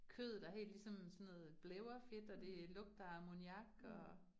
Kødet er helt ligesom sådan noget blævrefedt, og det lugter af amoniak og